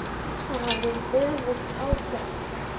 Það hafði öfug áhrif.